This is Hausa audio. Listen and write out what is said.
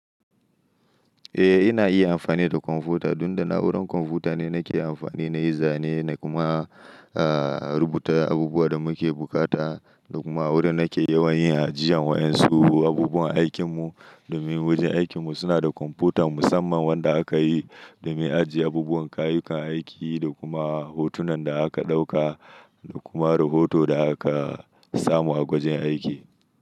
Eh, ina iya amfani da kwamfuta dun da na'urar kwamfuta ne nake amfani na yizane na kuma rubuta abubuwan da muke bukata da kuma wurin nake yawan yin ajiyan wa'yansu abubuwan aikin mu. Domin wajen aikin mu suna da kwamputa musamman wanda aka yi domin ajiye abubuwan kayukan aiki da kuma hotunan da aka ɗauka da kuma rahoto da aka samu a gwajen aiki.